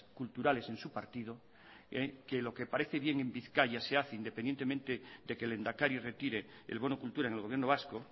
culturales en su partido que lo que parece bien en bizkaia se hace independientemente de que el lehendakari retire el bono cultura en el gobierno vasco